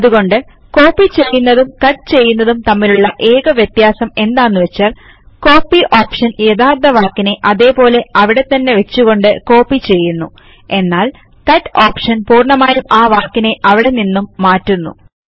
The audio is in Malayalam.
അതുകൊണ്ട് കോപ്പി ചെയ്യുന്നതും കട്ട് ചെയ്യുന്നതും തമ്മിലുള്ള ഏക വ്യത്യാസം എന്താന്നുവെച്ചാൽ കോപ്പി ഓപ്ഷൻ യഥാർത്ഥ വാക്കിനെ അതേപോലെ അവിടെത്തന്നെ വച്ചുകൊണ്ട് കോപ്പി ചെയ്യുന്നു എന്നാൽ കട്ട് ഓപ്ഷൻ പൂർണ്ണമായും ആ വാക്കിനെ അവിടെ നിന്നും മാറ്റുന്നു